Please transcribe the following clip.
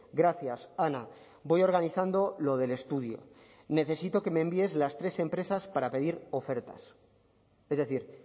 gracias ana voy organizando lo del estudio necesito que me envíes las tres empresas para pedir ofertas es decir